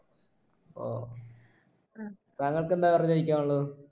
ഓ താങ്കൾക്ക് എന്താ വേറെ ചോദിക്കാനുള്ളത്